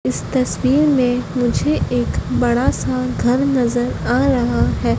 इस तस्वीर मे मुझे एक बड़ा सा घर नज़र आ रहा है।